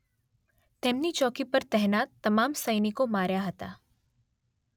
તેમની ચોકી પર તહેનાત તમામ સૈનિકો માર્યા હતા